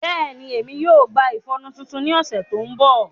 Bẹẹni, Emi yoo gba ifọnu titun ni ọsẹ to nbọ.